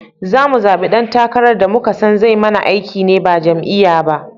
Zamu zaɓi dan takarar da muka son zai mana aiki ne ba jam'iyyar ba